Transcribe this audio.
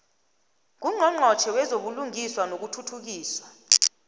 ngungqongqotjhe wezobulungiswa nokuthuthukiswa